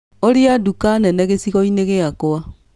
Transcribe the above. Ũria nduka nene gĩcigo-inĩ gĩakwa